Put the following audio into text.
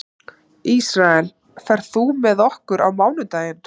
Ísrael, ferð þú með okkur á mánudaginn?